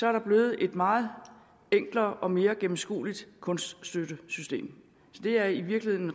er der blevet et meget enklere og mere gennemskueligt kunststøttesystem så det er i virkeligheden